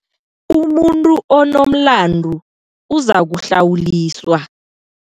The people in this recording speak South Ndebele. Umuntu onomlandu uzakuhlawuliswa.